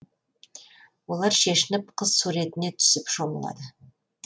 олар шешініп қыз суретіне түсіп шомылады